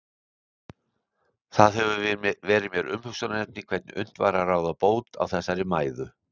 Það hefur verið mér umhugsunarefni hvernig unnt væri að ráða bót á þessari mæðu.